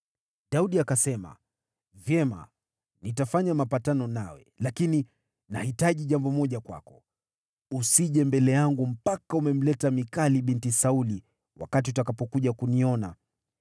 Daudi akasema, “Vyema, nitafanya mapatano nawe. Lakini nahitaji jambo moja kwako: Usije mbele yangu mpaka umemleta Mikali binti Sauli wakati utakapokuja kuniona.”